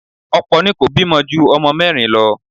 Ọ̀pọ̀ ni kò bímọ ju ọmọ mẹ́rin lọ.